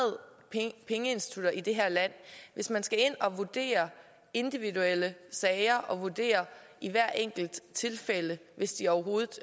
pengeinstitutter i det her land hvis man skal ind at vurdere individuelle sager og vurdere i hvert enkelt tilfælde hvis de overhovedet